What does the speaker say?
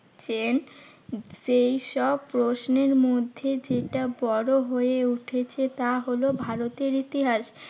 ছেন। সেই সব প্রশ্নের মধ্যে যেটা বড় হয়ে উঠেছে তা হলো ভারতের ইতিহাস।